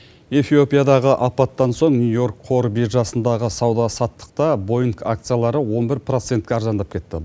эфиопиядағы апаттан соң нью йорк қор биржасындағы сауда саттықта боинг акциялары он бір процентке арзандап кетті